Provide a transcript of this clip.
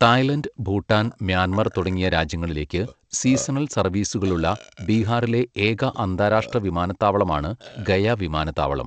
Thailand, Bhutan, Myanmar തുടങ്ങിയ രാജ്യങ്ങളിലേക്ക് seasonal സർവീസുകളുള്ള ബീഹാറിലെ ഏക അന്താരാഷ്ട്ര വിമാനത്താവളമാണ് ഗയ വിമാനത്താവളം.